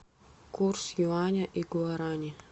курс юаня и гуарани